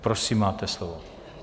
Prosím, máte slovo.